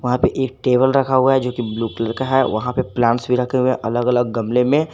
यहां पे एक टेबल रखा हुआ है जो की ब्लू कलर का है वहां पर प्लांट्स भी रखे हुए अलग अलग गमले में।